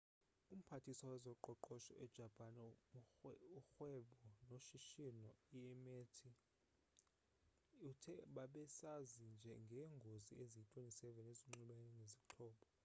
umphathiswa wezoqoqosho ejapan urhwebo noshishino imeti uthe bebesazi ngeengozi eziyi-27 ezinxulumene nezixhobo